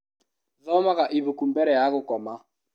Thomaga ibuku mbere ya gũkoma.